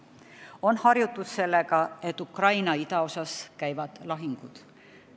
On harjutud sellega, et Ukraina idaosas käivad lahingud.